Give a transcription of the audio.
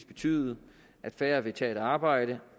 betyde at færre vil tage et arbejde